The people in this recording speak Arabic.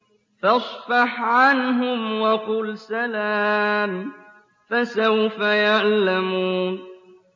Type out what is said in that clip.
فَاصْفَحْ عَنْهُمْ وَقُلْ سَلَامٌ ۚ فَسَوْفَ يَعْلَمُونَ